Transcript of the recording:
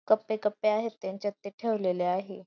कप्पे कप्पे आहेत त्यांच्यात ते ठेवलेले आहे.